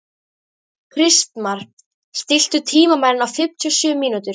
Kristmar, stilltu tímamælinn á fimmtíu og sjö mínútur.